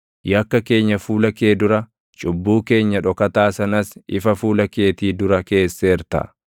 Yakka keenya fuula kee dura, cubbuu keenya dhokataa sanas ifa fuula keetii dura keesseerta.